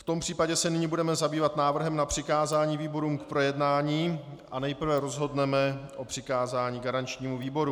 V tom případě se nyní budeme zabývat návrhem na přikázání výborům k projednání a nejprve rozhodneme o přikázání garančnímu výboru.